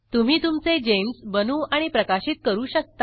तुम्ही तुमचे जीईएमएस बनवू आणि प्रकाशित करू शकता